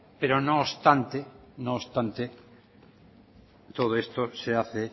pero no obstante no obstante todo esto se hace